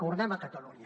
tornem a catalunya